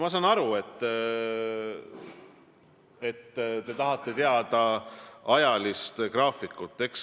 Ma saan aru, et te tahate teada ajagraafikut.